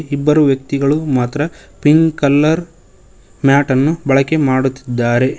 ಇಬ್ಬರು ವ್ಯಕ್ತಿಗಳು ಮಾತ್ರ ಪಿಂಕ್ ಕಲರ್ ಮ್ಯಾಟ್ ಅನ್ನು ಬಳಕೆ ಮಾಡುತ್ತಿದ್ದಾರೆ.